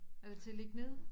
Er det til at ligge ned